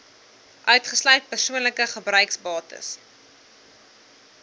uitgesluit persoonlike gebruiksbates